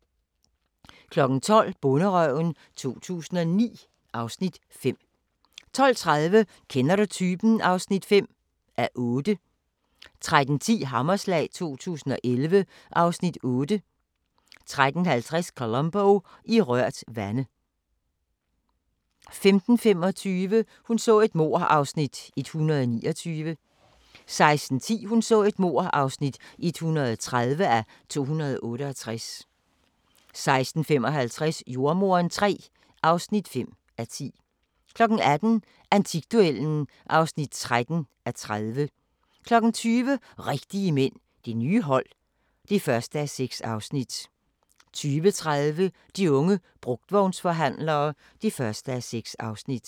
12:00: Bonderøven 2009 (Afs. 5) 12:30: Kender du typen? (5:8) 13:10: Hammerslag 2011 (Afs. 8) 13:50: Columbo: I rørt vande 15:25: Hun så et mord (129:268) 16:10: Hun så et mord (130:268) 16:55: Jordemoderen III (5:10) 18:00: Antikduellen (13:30) 20:00: Rigtige mænd – Det nye hold (1:6) 20:30: De unge brugtvognsforhandlere (1:6)